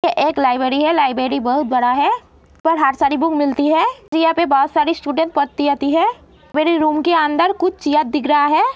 ये एक लाइब्रेरी है लाइब्रेरी बहुत बड़ा है। पर हर सारी बुक मिलती है जो यहां पर बहुत सारे स्टूडेंट है। मेरे रूम के अंदर कुछ दिख रहा है।